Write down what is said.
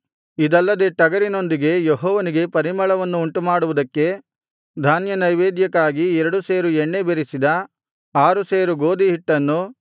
ಇದಲ್ಲದೆ ಟಗರಿನೊಂದಿಗೆ ಯೆಹೋವನಿಗೆ ಪರಿಮಳವನ್ನು ಉಂಟುಮಾಡುವುದಕ್ಕೆ ಧಾನ್ಯನೈವೇದ್ಯಕ್ಕಾಗಿ ಎರಡು ಸೇರು ಎಣ್ಣೆ ಬೆರಸಿದ ಆರು ಸೇರು ಗೋದಿಯ ಹಿಟ್ಟನ್ನೂ